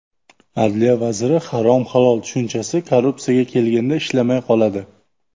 Adliya vaziri: Harom-halol tushunchasi korrupsiyaga kelganda ishlamay qoladi.